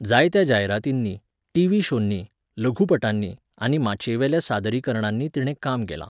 जायत्या जायरातींनी, टीव्ही शोंनी, लघुपटांनी आनी माचयेवेल्या सादरीकरणांनी तिणें काम केलां.